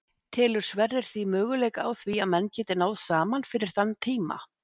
Telur Sverrir því möguleika á því að menn geti náð saman fyrir þann tíma?